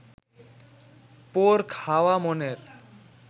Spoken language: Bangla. পোড় খাওয়া মনের